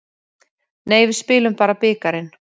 Nei, við spilum bara bikarinn.